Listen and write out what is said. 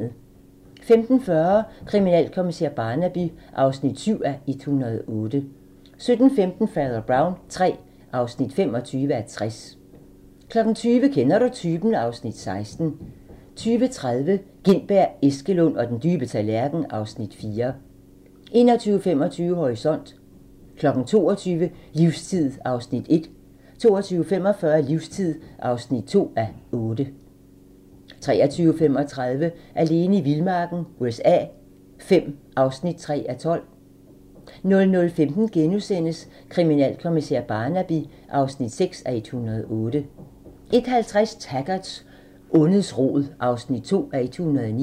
15:40: Kriminalkommissær Barnaby (7:108) 17:15: Fader Brown III (25:60) 20:00: Kender du typen? (Afs. 16) 20:30: Gintberg, Eskelund og den dybe tallerken (Afs. 4) 21:25: Horisont 22:00: Livstid (1:8) 22:45: Livstid (2:8) 23:35: Alene i vildmarken USA V (3:12) 00:15: Kriminalkommissær Barnaby (6:108)* 01:50: Taggart: Ondets rod (2:109)